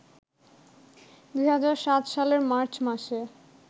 ২০০৭ সালের মার্চ মাসে